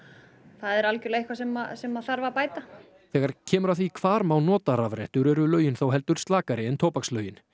það er algjörlega eitthvað sem sem þarf að bæta þegar kemur að því hvar má nota rafrettur eru lögin þó heldur slakari en tóbakslögin